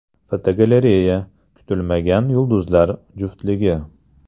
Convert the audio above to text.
Fotogalereya: Kutilmagan yulduzlar juftligi.